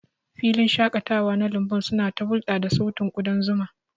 Filin shaƙatawa na lambun suna ta hulɗa da sautin kudan zuma.